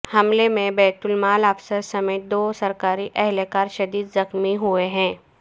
حملے میں بیت المال افسر سمیت دو سرکاری اہلکار شدید زخمی ہوئے ہیں